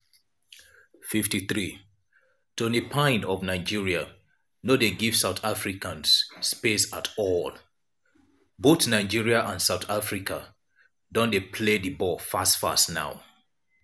53' toni payne of nigeria no dey give south africans space at all both nigeria and south africa don dey play di ball fast fast now.